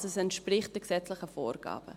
Also entspricht es den gesetzlichen Vorgaben.